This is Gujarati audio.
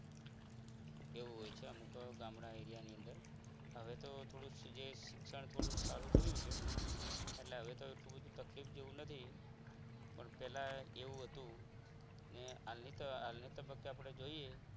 એવું હોય છે અમુક ગામડા area ની અંદર હવે તો થોડું શિક્ષણ સારું થયું છે એટલે હવે તો એટલી બધી તકલીફ જેવું નથી પણ પહેલા એવું હતું ને હાલની તબિયત કે આપણે જોઈએ